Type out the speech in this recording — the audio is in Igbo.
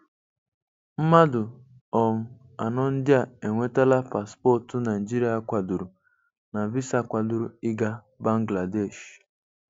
Mmadụ um anọ ndị a enwetala paspọtụ Naịjirịa kwadoro na visa kwadoro ịga Bangladesh.